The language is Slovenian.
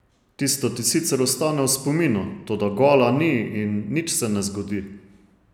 Tisto ti sicer ostane v spominu, toda gola ni in nič se ne zgodi.